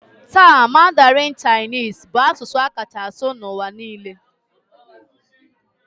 Taa, Mandarin Chinese bụ asụsụ a kacha asụ n'ụwa niile